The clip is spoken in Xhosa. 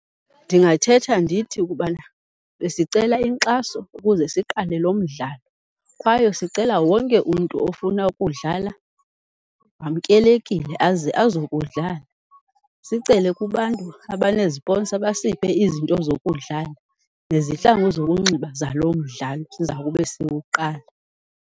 Ndingathetha ndithi ukubana besicela inkxaso ukuze siqale lo mdlalo kwaye sicela wonke umntu ofuna ukudlala wamkelekile aze azokudlala. Sicele kubantu abaneziponsa basiphe izinto zokudlala nezihlangu zokunxiba zalo mdlalo siza kube siwuqala.